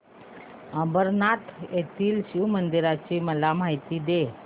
अंबरनाथ येथील शिवमंदिराची मला माहिती दे